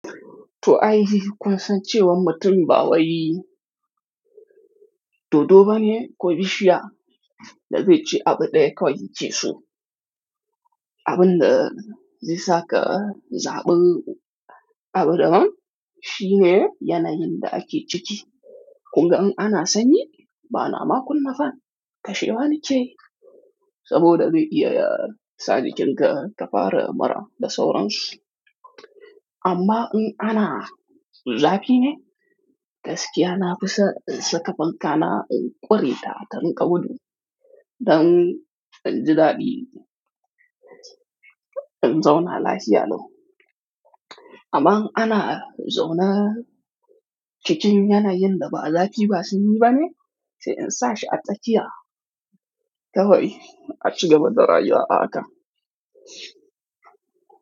To ai, kun san cewan mutum ba wai, doddo ba ne ko bishiya da zai ci abu ɗaya kawai, ki ce su. Abin da zai saka zaɓi abu daban shine yanayin da ake ciki. Kun ga an ana sanyi, ba na ma kun mafan tashewa nike, saboda zai iya sa jikinka ka fara mura da sauransu. Amma in ana zafi ne, gaskiya na fi sa sakafanka na ƙuri ta, rinka gudu. Dan in ji daɗi in zauna lafiya lau. Amma in ana zaune cikin yanayin da ba zafi ba sanyi bane, sai in sa shi a tsakiya kawai, a ci gaba da rayuwa haka.